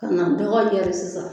A na dɔgɔ yɛri sisan